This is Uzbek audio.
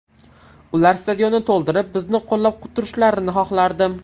Ular stadionni to‘ldirib, bizni qo‘llab turishlarini xohlardim.